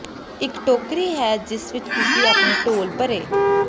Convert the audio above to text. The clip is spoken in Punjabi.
ਇਕ ਟੋਕਰੀ ਹੈ ਜਿਸ ਵਿਚ ਤੁਸੀਂ ਆਪਣੇ ਟੋਲ ਭਰੇ